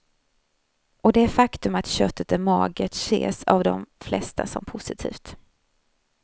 Och det faktum att köttet är magert ses av de flesta som positivt.